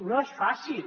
no és fàcil